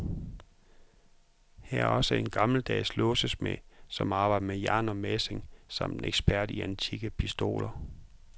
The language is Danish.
Her er også en gammeldags låsesmed, som arbejder med jern og messing, samt en ekspert i antikke pistoler.